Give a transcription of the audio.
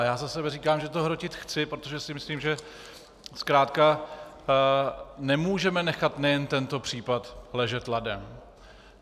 A já za sebe říkám, že to hrotit chci, protože si myslím, že zkrátka nemůžeme nechat nejen tento případ ležet ladem.